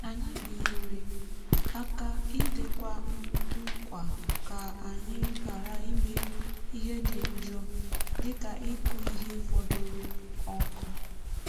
omume ya nke ịgbanwe ihe a na-akụ kwa afọ na-enyere aka na ahụike ala na idobe ọnọdụ ihu igwe ụwa.